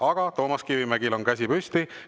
Aga Toomas Kivimägil on käsi püsti.